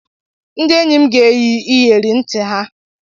Ndị enyi m ga-eyi iyeri ntị ha.